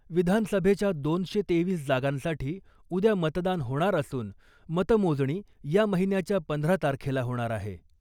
विधानसभेच्या दोनशे तेवीस जागांसाठी उद्या मतदान होणार असुन , मतमोजणी या महिन्याच्या पंधरा तारखेला होणार आहे .